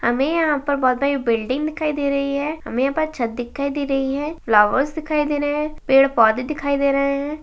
हमें यहाँ पर बहोत बड़ी बिल्डिंग दिखाई दे रही है। हमें यहाँ पर छत दिखाई दे रही है। फ्लावर्स दिखाई दे रहे हैं। पेंड़ - पौधे दिखाई दे रहे हैं।